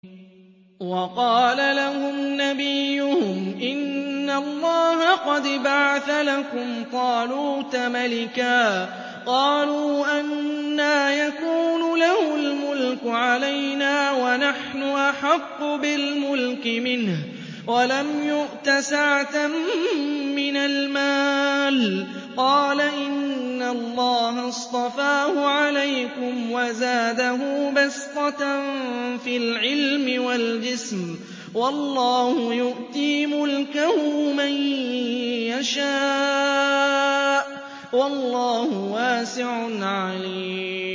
وَقَالَ لَهُمْ نَبِيُّهُمْ إِنَّ اللَّهَ قَدْ بَعَثَ لَكُمْ طَالُوتَ مَلِكًا ۚ قَالُوا أَنَّىٰ يَكُونُ لَهُ الْمُلْكُ عَلَيْنَا وَنَحْنُ أَحَقُّ بِالْمُلْكِ مِنْهُ وَلَمْ يُؤْتَ سَعَةً مِّنَ الْمَالِ ۚ قَالَ إِنَّ اللَّهَ اصْطَفَاهُ عَلَيْكُمْ وَزَادَهُ بَسْطَةً فِي الْعِلْمِ وَالْجِسْمِ ۖ وَاللَّهُ يُؤْتِي مُلْكَهُ مَن يَشَاءُ ۚ وَاللَّهُ وَاسِعٌ عَلِيمٌ